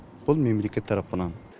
бұл мемлекет тарапынан